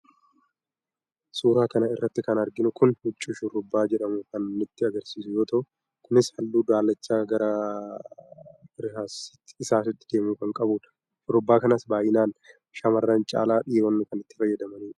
Suuraa kana irratti kan arginu Kun huccuu shurraaba jedhamu kan nutti agarsiisu yoo ta'u Kunis halluu daalacha gara irsaasiitti deemu kan qabudha. Shurraaba kanas baay'inaan shaamarran caala dhiironni kan itti fayyadamanidha.